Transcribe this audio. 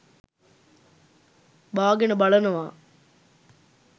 බාගෙන බලනවා